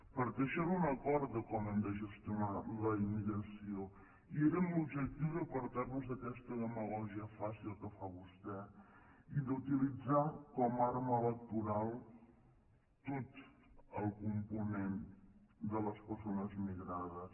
perquè això era un acord de com hem de gestionar la immigració i era amb l’objectiu d’apartar nos d’aquesta demagògia fàcil que fa vostè i d’utilitzar com a arma electoral tot el component de les persones migrades